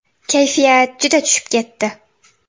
Kayfiyat juda tushib ketdi!